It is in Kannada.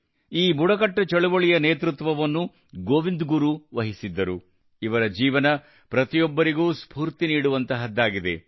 ಈ ಬುಡಕಟ್ಟು ಚಳುವಳಿಯ ನೇತೃತ್ವವನ್ನು ಗೋವಿಂದ್ ಗುರು ವಹಿಸಿದ್ದರು ಇವರ ಜೀವನ ಪ್ರತಿಯೊಬ್ಬರಿಗೂ ಸ್ಫೂರ್ತಿ ನೀಡುವಂತಹದ್ದಾಗಿದೆ